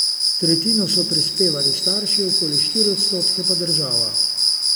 Tretjino so prispevali starši, okoli štiri odstotke pa država.